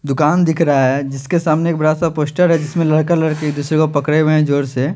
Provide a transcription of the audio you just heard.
दुकान दिख रहा है जिसके सामने बड़ा सा पोस्टर है जिसमे लड़का लड़की एक दूसरे को पकड़े हुए है जोर से--